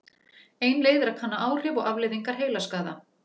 Ein leið er að kanna áhrif og afleiðingar heilaskaða.